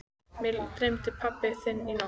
Mig dreymdi pabba þinn í nótt.